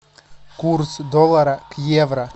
курс доллара к евро